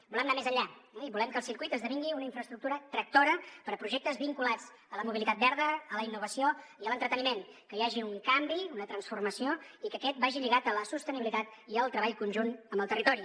volem anar més enllà i volem que el circuit esdevingui una infraestructura tractora per a projectes vinculats a la mobilitat verda a la innovació i a l’entreteniment que hi hagi un canvi una transformació i que aquest vagi lligat a la sostenibilitat i al treball conjunt amb el territori